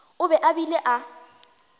o be a bile a